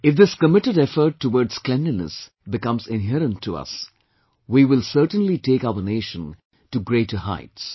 If this committed effort towards cleanliness become inherent to us, our country will certainly take our nation to greater heights